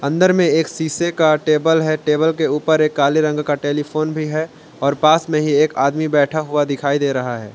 अंदर में एक शीशे का टेबल है टेबल के ऊपर एक काले रंग का एक टेलीफोन भी है और पास में ही एक आदमी बैठा दिखाई दे रहा है।